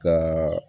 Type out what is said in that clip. Ka